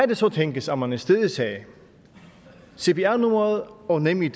det så tænkes at man i stedet sagde cpr numre og nemid